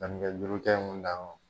Danni kɛ duuru kɛ mun na